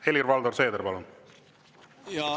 Helir-Valdor Seeder, palun!